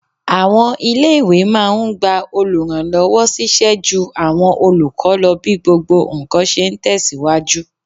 Àwọn ilé-ìwé máa n gba olùrànlọ́wọ́ ṣíṣẹ́ jú àwọn olùkọ́ lọ bí gbogbo ǹkan ṣe ń tẹ̀síwájú